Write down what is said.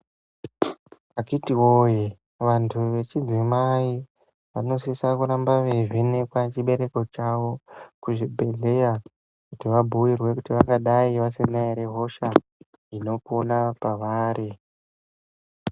Akhiti woye, antu echidzimai anosisa kuramba eivhenekwa chibereko chavo kuzvibhehlera, kuti va bhuyirwe kuti vangadai vasina here hosha inopona pavari.